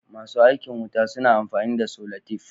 Masu aikin wuta suna amfani da solatif.